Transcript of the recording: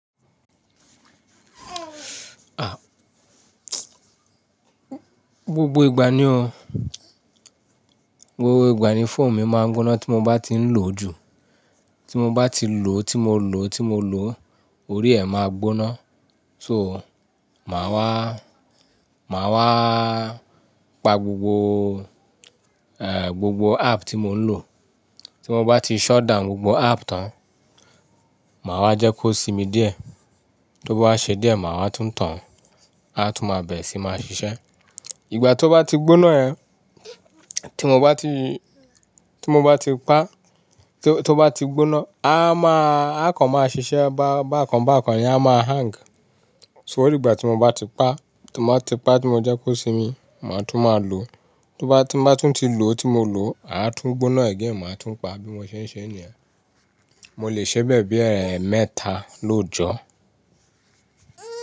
Ah, gbogbo ìgbà ni o, gbogbo ìgbà ni fóònù mi máa ń gbóná tí mo bá ti ń lò jù. Tí mo bá ti lò, tí mo lò, tí mo lò, orí ẹ máa gbóná. So, màá wá, màá wá pa gbogbo, eh, gbogbo app tí mo ń lò. Tí mo bá ti shut down gbogbo app tán, màá wá jẹ́ kó simi díẹ̀. Tó bá ṣe díẹ̀, màá tún tàn án, a tún máa bẹ̀rẹ̀ sí ní máa ṣiṣẹ́. Ìgbà tó bá ti gbóná yẹn, tí mo bá ti, tí mo bá ti pa, tó bá ti gbóná, a máa, ako máa ṣiṣẹ́ bá, bá kan bá kan ni a máa hang. To rí gbà tí mo bá ti pa, tí mo bá ti pa, tí mo jẹ́ kó simi, màá tún máa lò. Tó bá, tí mo bá tún ti lò tí mo lò, a tún gbóná again, màá tún pa bí mo ṣe ń ṣe ní yen mo lè ṣẹ bẹ́ẹ̀ bí ẹ̀mẹ́ta lójọ́o.